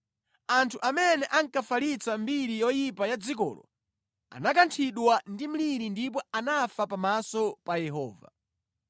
Anthu amene ankafalitsa mbiri yoyipa ya dzikolo anakanthidwa ndi mliri ndipo anafa pamaso pa Yehova.